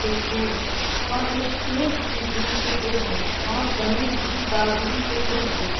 त्रिशूल और एक शेर की बी चित्र है और गणेश जी का बी चित्र है।